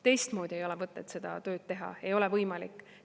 Teistmoodi ei ole mõtet seda tööd teha, ei ole võimalik.